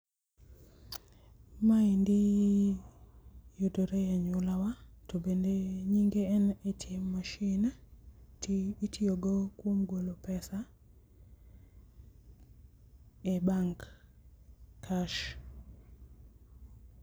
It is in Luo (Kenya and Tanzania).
ma endi yudore e anyuolawa to bende nyinge en ATM machine ti itiyo go kuom golo pesa e bank cash.